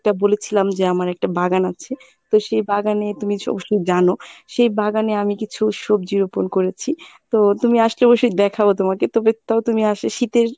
একটা বলেছিলাম যে আমার একটা বাগান আছে। তো সেই বাগানে তুমি জানো সে বাগানে আমি কিছু সবজি রোপন করেছি, তো তুমি আসলে অবশ্যই দেখাবো তোমাকে তবে তাও তুমি আসো শীতের